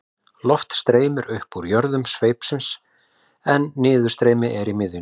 loft streymir upp í jöðrum sveipsins en niðurstreymi er í miðjunni